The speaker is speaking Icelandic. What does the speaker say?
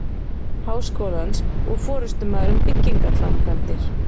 Háskólans og forystumaður um byggingarframkvæmdir.